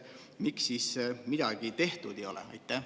Miks siis midagi tehtud ei ole?